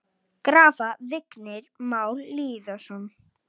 Graf: Vignir Már Lýðsson